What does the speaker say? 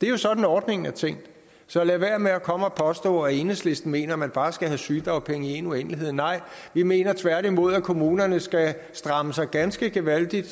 det er jo sådan at ordningen er tænkt så lad være med at komme og påstå at enhedslisten mener at man bare skal have sygedagpenge i en uendelighed nej vi mener tværtimod at kommunerne skal stramme sig ganske gevaldigt